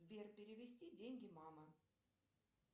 сбер перевести деньги мама